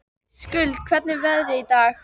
Skuld, hvernig er veðrið í dag?